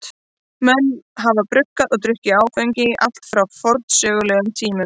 Menn hafa bruggað og drukkið áfengi allt frá forsögulegum tíma.